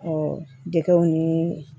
dɛgɛw ni